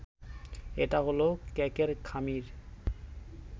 এটা হল কেকের খামির